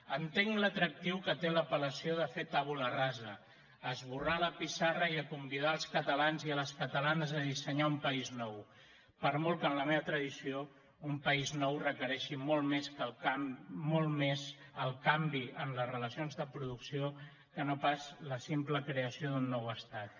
entenc l’atractiu que té l’apel·lació de fer tabula rasa esborrar la pissarra i convidar els catalans i les catalanes a dissenyar un país nou per molt que en la meva tradició un país nou requereixi molt més el canvi en les relacions de producció que no pas la simple creació d’un nou estat